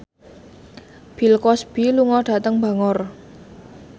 Bill Cosby lunga dhateng Bangor